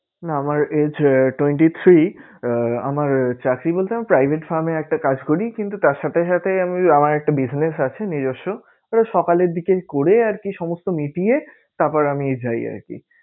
আমার age twenty three আহ আমার চাকরি বলতে আমি private form এ একটা কাজ করি কিন্তু তার সাথে সাথে আমি আমার একটা business আছে নিজেস্য। ওটা সকালের দিকে করে আরকি সমস্ত মিটিয়ে তারপরে আমি যাই আরকি।